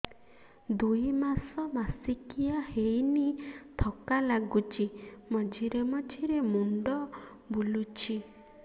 ଦୁଇ ମାସ ମାସିକିଆ ହେଇନି ଥକା ଲାଗୁଚି ମଝିରେ ମଝିରେ ମୁଣ୍ଡ ବୁଲୁଛି